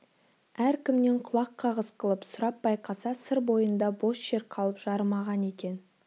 әр кімнен құлақ кағыс қылып сұрап байқаса сыр бойында бос жер қалып жарымаған екен